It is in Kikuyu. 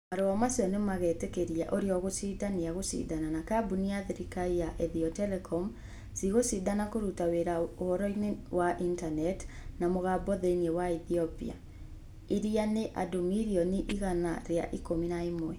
Marũa macio nĩ magetĩkĩria ũrĩa ũgũcinda nia gũcindana na kambuni ya thirikari ya Ethio Telecom. Ci gũcindana kũruta wĩra ũhoro-inĩ wa intaneti na mũgambo thĩinĩ wa Ethiopia. ĩrĩa ĩna andũ mirioni igana rĩa ikũmi na ĩmwe.